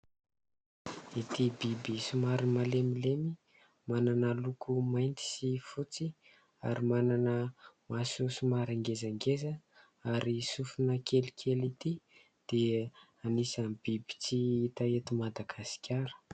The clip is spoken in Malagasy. Ity biby somary malemilemy, manana loko mainty sy fotsy ary manana maso somary ngezangeza ary sofina kelikely ity dia anisan'ny biby tsy hita eto Madagasikara.